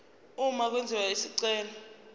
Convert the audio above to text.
uma kwenziwa isicelo